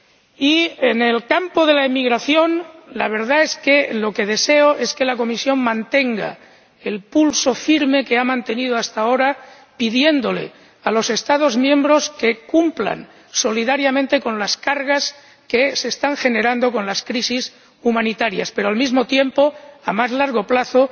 Y en el campo de la inmigración, la verdad es que lo que deseo es que la Comisión mantenga el pulso firme que ha mantenido hasta ahora, pidiendo a los Estados miembros que cumplan solidariamente con las cargas que se están generando con las crisis humanitarias, pero, al mismo tiempo, a más largo plazo,